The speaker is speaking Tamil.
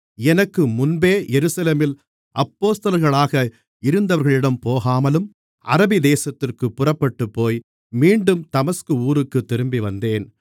எனக்கு முன்பே எருசலேமில் அப்போஸ்தலர்களாக இருந்தவர்களிடம் போகாமலும் அரபிதேசத்திற்குப் புறப்பட்டுப்போய் மீண்டும் தமஸ்கு ஊருக்குத் திரும்பிவந்தேன்